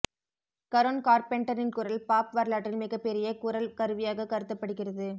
கரோன் கார்பெண்டரின் குரல் பாப் வரலாற்றில் மிகப் பெரிய குரல் கருவியாகக் கருதப்படுகிறது